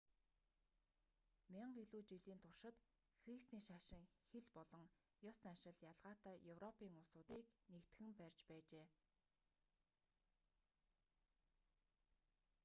мянга илүү жилийн туршид христийн шашин хэл болон ёс заншил ялгаатай европын улсуудыг нэгтгэн барьж байжээ